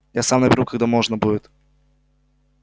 я сам наберу когда можно будет